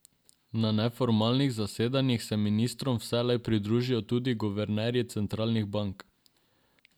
Na neformalnih zasedanjih se ministrom vselej pridružijo tudi guvernerji centralnih bank.